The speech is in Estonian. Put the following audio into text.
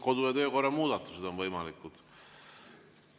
Kodu‑ ja töökorra muudatused on võimalikud.